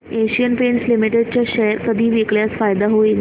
Asian Paints Limited चे share कधी विकल्यास फायदा होईल